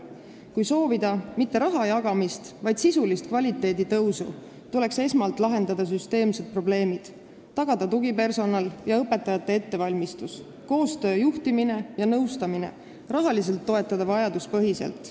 Kui soovida mitte raha jagamist, vaid sisulist kvaliteedi paranemist, tuleks esmalt lahendada süsteemsed probleemid, tagada tugipersonali olemasolu ja õpetajate ettevalmistus, koostöö, juhtimine ja nõustamine, ning rahaliselt tuleks toetada vajaduspõhiselt.